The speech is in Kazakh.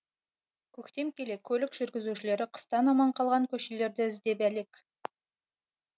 көктем келе көлік жүргізушілері қыстан аман қалған көшелерді іздеп әлек